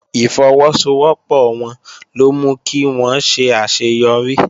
Ìfọwọ́sowọ́pọ̀ wọn ló mú kí wón ṣe àṣeyọrí